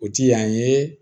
O ti yan ye